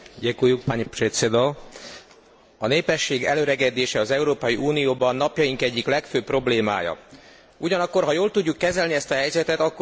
A népesség elöregedése az Európai Unióban napjaink egyik legfőbb problémája, ugyanakkor, ha jól tudjuk kezelni ezt a helyzetet, akkor új lehetőségek is rejtőzhetnek benne.